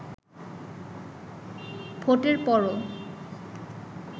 ভোটের পরও